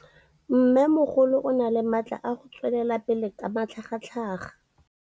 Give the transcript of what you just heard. Mmêmogolo o na le matla a go tswelela pele ka matlhagatlhaga.